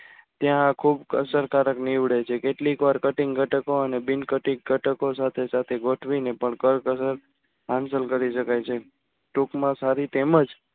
ત્યાં ખૂબ અસરકારક નીવડે છે કેટલીક વાર cutting ધટકો અને બિન cutting ઘટકો સાથે સાથે ગોઠવીને પણ કરકસર હાસલ કરી શકાય છે ટૂંકમાં સારી તેમ જ